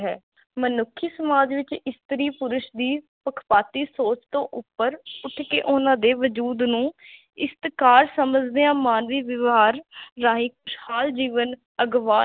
ਮਨੁਖੀ ਸਮਾਜ ਵਿਚ ਇਸਤਰੀ ਪੁਰਸ਼ ਦੀ ਪੱਖਪਾਤੀ ਸੋਚ ਤੋ ਉਪਰ ਉਠ ਕੇ ਓਹਨਾ ਦੇ ਵਜੂਦ ਨੂੰ ਇਸਤ੍ਕਾਰ ਸਮਝਦਿਆ ਮਾਨਵੀ ਵਿਵਹਾਰ ਰਾਹੀ ਖੁਸ਼ਹਾਲ ਜੀਵਨ ਅਗਵਾ